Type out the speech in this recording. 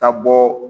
Ka bɔ